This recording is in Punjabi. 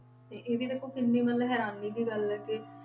ਤੇ ਇਹ ਵੀ ਦੇਖੋ ਕਿੰਨੀ ਮਤਲਬ ਹੈਰਾਨੀ ਦੀ ਗੱਲ ਹੈ ਕਿ